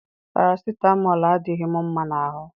Parasitamọlụ adịghị m mma na ahụ